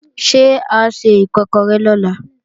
Ṣé a se Ìkọ́kọrẹ́ lọ̀la?